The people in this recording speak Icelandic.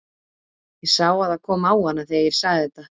Ég sá að það kom á hana þegar ég sagði þetta.